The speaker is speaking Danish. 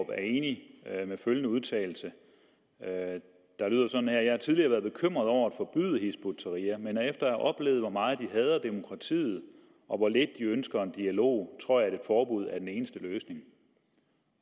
er enig i følgende udtalelse der lyder sådan her jeg har tidligere været bekymret over at forbyde hizb ut tahrir men efter at have oplevet hvor meget de hader demokratiet og hvor lidt de ønsker en dialog tror jeg at et forbud er den eneste løsning